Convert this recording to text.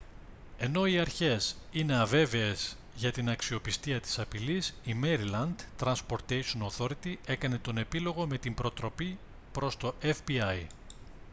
ενώ οι αρχές είναι αβέβαιες για την αξιοπιστία της απειλής η maryland transportation authority έκανε τον επίλογο με την προτροπή προς το fbi